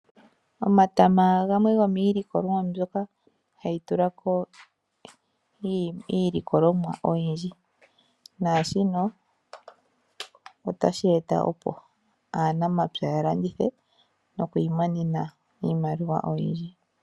Omatama gamwe gomiilikolwa mbyoka hayitulako iilikolomwa oyindji. Naashino otashi eta opo aanamapya yalandithe nokwiimonena iimaliwa oyindji.